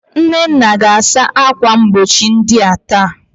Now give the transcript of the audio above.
Nnenna ga-asa akwa mgbochi ndia taa.